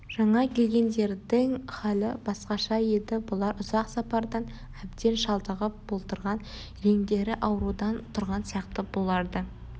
жаңа келгендердің халі басқаша еді бұлар ұзақ сапардан әбден шалдығып болдырған реңдері аурудан тұрған сияқты бұларды